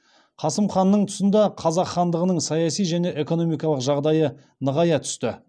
қасым ханның тұсында қазақ хандығының саяси және экономикалық жағдайы нығая түсті